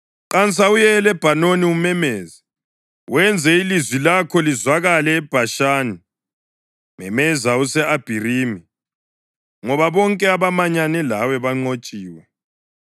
“Qansa uye eLebhanoni umemeze, wenze ilizwi lakho lizwakale eBhashani; memeza use-Abharimi, ngoba bonke abamanyane lawe banqotshiwe.